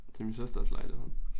Til min søsters lejlighed